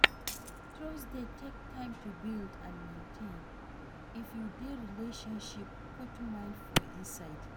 Trust dey take time to build and maintain, if you dey relationship, put mind for inside